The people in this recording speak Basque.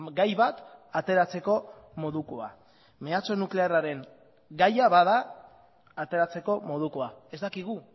gai bat ateratzeko modukoa mehatxu nuklearraren gaia bada ateratzeko modukoa ez dakigu